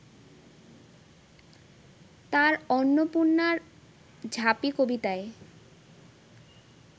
তাঁর অন্নপূর্ণার ঝাঁপি কবিতায়